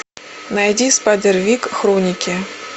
найди спайдервик хроники